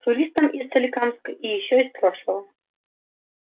туристом из соликамска и ещё из прошлого